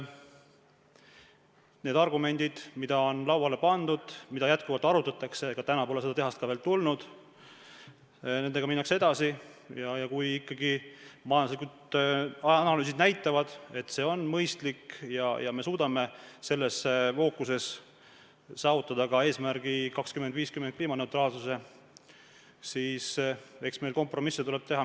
Need argumendid, mis on lauale pandud ja mida jätkuvalt arutatakse – täna pole ka seda tehast veel tulnud –, nendega minnakse edasi ja kui ikkagi majanduslikud analüüsid näitavad, et see on mõistlik, ja me suudame selles fookuses saavutada ka eesmärgi ehk kliimaneutraalsuse 2050. aastaks, siis eks meil tuleb kompromisse teha.